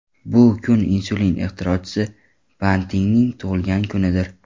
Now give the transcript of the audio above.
Bu kun insulin ixtirochisi Bantingning tug‘ilgan kunidir.